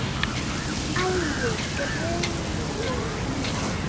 Æi, greyið mitt.